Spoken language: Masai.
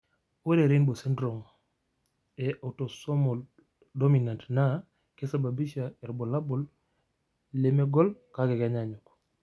Ore Robinow syndrome e autosomal dominant naa keisababisha irbulabol lemegol kake kenyaanyuk,